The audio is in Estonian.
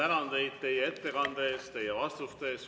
Ma tänan teid teie ettekande eest ja teie vastuste eest.